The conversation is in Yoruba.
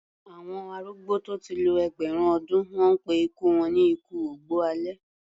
Àwọn arúgbó tó ti lo ẹgbẹ̀rún ọdún, wọ́n pé ikú wọn ni ikú ògbó alẹ́.